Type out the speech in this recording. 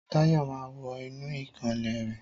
Táyọ̀ máà wọ inú ìkànnlé rẹ.